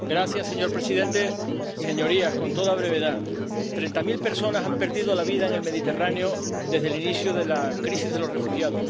Señor presidente, señorías, treinta mil personas han perdido la vida en el Mediterráneo desde el inicio de la crisis de los refugiados.